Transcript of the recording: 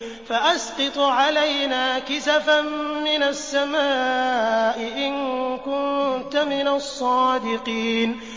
فَأَسْقِطْ عَلَيْنَا كِسَفًا مِّنَ السَّمَاءِ إِن كُنتَ مِنَ الصَّادِقِينَ